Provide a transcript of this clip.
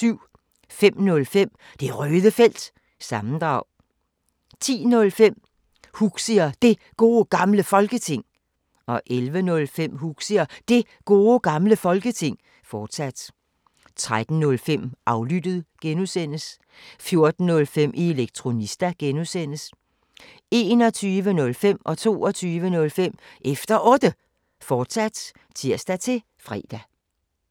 05:05: Det Røde Felt – sammendrag 10:05: Huxi og Det Gode Gamle Folketing 11:05: Huxi og Det Gode Gamle Folketing, fortsat 13:05: Aflyttet G) 14:05: Elektronista (G) 21:05: Efter Otte, fortsat (tir-fre) 22:05: Efter Otte, fortsat (tir-fre)